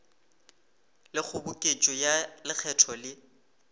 le kgoboketšo ya lekgetho le